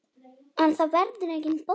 En það verður engin bolla.